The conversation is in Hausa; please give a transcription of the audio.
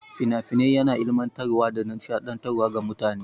Fina-finai yana ilimantar wa da nishaɗi ga mutane.